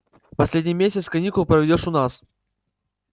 последний месяц каникул проведёшь у нас